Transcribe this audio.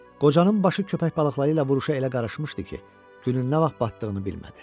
Qocanın başı köpək balıqları ilə vuruşa elə qarışmışdı ki, günün nə vaxt batdığını bilmədi.